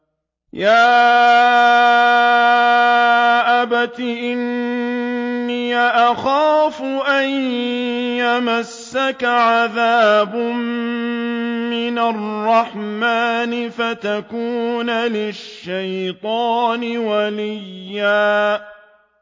يَا أَبَتِ إِنِّي أَخَافُ أَن يَمَسَّكَ عَذَابٌ مِّنَ الرَّحْمَٰنِ فَتَكُونَ لِلشَّيْطَانِ وَلِيًّا